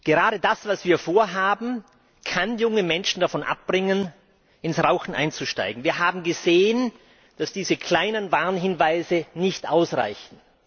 Gerade das, was wir vorhaben, kann junge Menschen davon abbringen, ins Rauchen einzusteigen. Wir haben gesehen, dass diese kleinen Warnhinweise nicht ausreichen.